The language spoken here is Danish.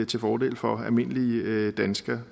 til fordel for almindelige danskere